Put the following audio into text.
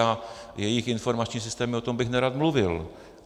A jejich informační systém - o tom bych nerad mluvil.